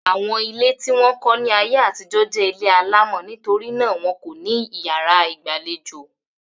Àwọn ilé tí wọ́n kọ́ ni ayé àtijọ́ jẹ́ ilé alámọ̀ nítorí náà wọn kò ní yàrá ìgbàlejò.